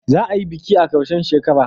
Za a yi biki a karshen shekara